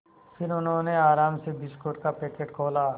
फिर उन्होंने आराम से बिस्कुट का पैकेट खोला